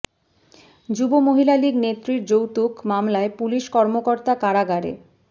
যুব মহিলা লীগ নেত্রীর যৌতুক মামলায় পুলিশ কর্মকর্তা কারাগারে